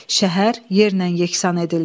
Şəhər yerlə yekasan edildi.